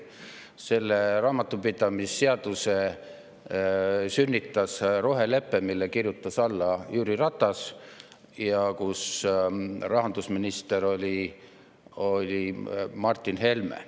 Selle raamatupidamise seaduse sünnitas rohelepe, millele kirjutas alla Jüri Ratas ja rahandusministriks Martin Helme.